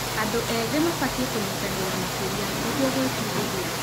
Andũ ethĩ mabatie kũnyitanĩra makĩria, nĩguo gwĩbundithia